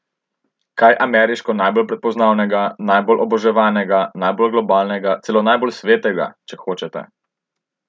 Kaj ameriško najbolj prepoznavnega, najbolj oboževanega, najbolj globalnega, celo najbolj svetega, če hočete?